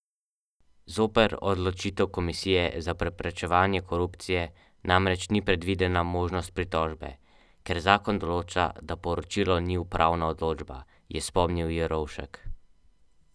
Bodite pa skrajno previdni, da ne bi poškodovali oblačil.